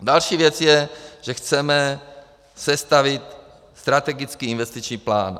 Další věc je, že chceme sestavit strategický investiční plán.